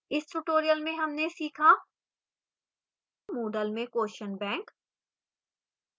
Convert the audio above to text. इस tutorial में हमने सीखा moodle में question bank